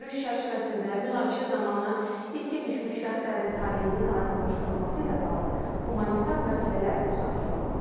Görüş çərçivəsində münaqişə zamanı itkin düşmüş şəxslərin taleyinin aydınlaşdırılması ilə bağlı humanitar məsələlər müzakirə olunub.